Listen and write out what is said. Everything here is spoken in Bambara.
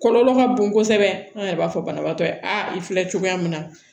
Kɔlɔlɔ ka bon kosɛbɛ an yɛrɛ b'a fɔ banabagatɔ ye a i filɛ cogoya min na